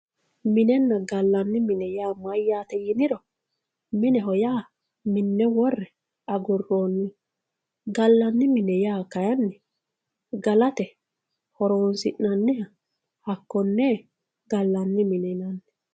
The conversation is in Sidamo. Minenna galani mine ya mayate yiniro mineho ya mine wore aguroniho galani mine ya kayinni galate horonsinaniha hakone galanni mineti yinanni